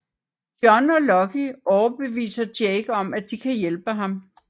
John og Lucky overbeviser Jake om at de kan hjælpe ham